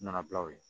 Nana bila o ye